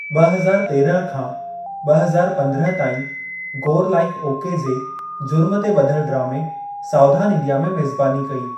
ब॒ हज़ार तेरहं खां ब॒ हज़ार पंद्रहं ताईं, गोर लाइफ ओके जे जुर्म ते ब॒धलु डरामे, सावधान इंडिया में मेज़बानी कई।